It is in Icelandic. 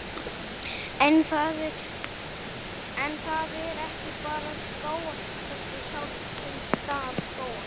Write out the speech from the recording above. En það er ekki bara skógarhöggið sjálft sem skaðar skógana.